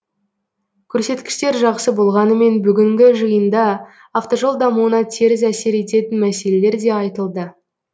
көрсеткіштер жақсы болғанымен бүгінгі жиында автожол дамуына теріс әсер ететін мәселелер де айтылды